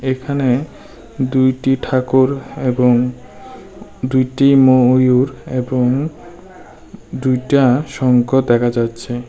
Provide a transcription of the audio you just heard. এখানে দুইটি ঠাকুর এবং দুইটি ময়ূর এবং দুইটা শঙ্খ দেখা যাচ্ছে।